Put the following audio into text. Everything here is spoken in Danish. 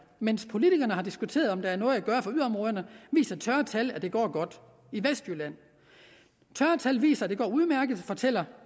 mens politikerne har diskuteret om der er noget at gøre for yderområderne viser tørre tal at det går godt i vestjylland tørre tal viser at det går udmærket fortæller